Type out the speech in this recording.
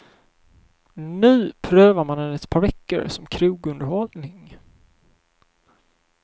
Nu prövar man den ett par veckor som krogunderhållning.